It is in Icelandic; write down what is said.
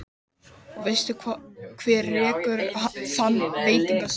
Og veistu hver rekur þann veitingastað?